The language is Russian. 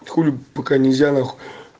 хули пока нельзя нахуй